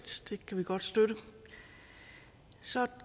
det kan vi godt støtte så